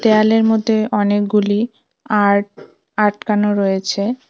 দেয়ালের মধ্যে অনেকগুলি আর্ট আটকানো রয়েছে।